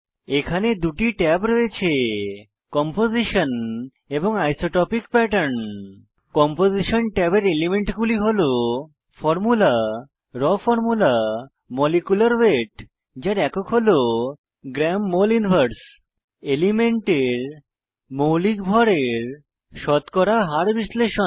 এখানে দুটি ট্যাব রয়েছে কম্পোজিশন এবং আইসোটপিক প্যাটার্ন কম্পোজিশন ট্যাবের এলিমেন্টগুলি হল ফরমুলা রাও ফরমুলা মলিকিউলার ওয়েট যার একক gমল 1 এলিমেন্টের মৌলিক ভড়ের শতকরা হার বিশ্লেষণ